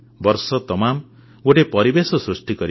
ବର୍ଷତମାମ ଗୋଟିଏ ପରିବେଶ ସୃଷ୍ଟି କରିବା